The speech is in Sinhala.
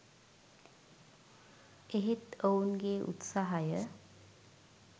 එහෙත් ඔවුන්ගේ උත්සාහය